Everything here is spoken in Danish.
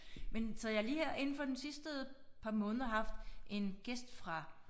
Men så jeg har lige her indenfor den sidste par måneder haft en gæst fra